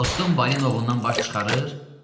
Dostun balinovdan baş çıxarır?